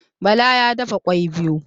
Bala ya dafa kwai biyu